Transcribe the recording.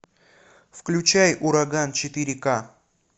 включай ураган четыре ка